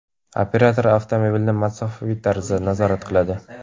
Operator avtomobilni masofaviy tarzda nazorat qiladi.